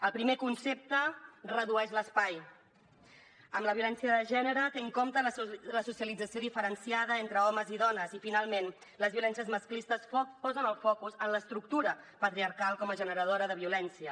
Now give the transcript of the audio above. el primer concepte redueix l’espai amb la violència de gènere té en compte la socialització diferenciada entre homes i dones i finalment les violències masclistes posen el focus en l’estructura patriarcal com a generadora de violència